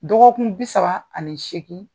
Dɔgɔkun bi saba ani seekin